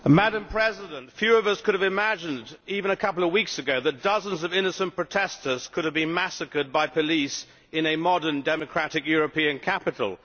Madam President, few of us could have imagined even a couple of weeks ago that dozens of innocent protestors could have been massacred by police in a modern democratic European capital.